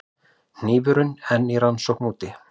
Hnífurinn enn í rannsókn úti